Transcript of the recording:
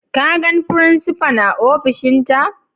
Ka gan frincipa'n a ofishin ta?